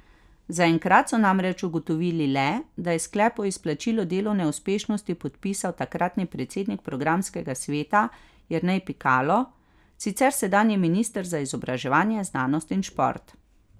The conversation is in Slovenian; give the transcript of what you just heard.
Zaenkrat so namreč ugotovili le, da je sklep o izplačilu delovne uspešnosti podpisal takratni predsednik programskega sveta Jernej Pikalo, sicer sedanji minister za izobraževanje, znanost in šport.